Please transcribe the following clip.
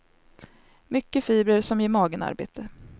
Mycket fibrer som ger magen arbete.